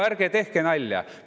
Ärge tehke nalja!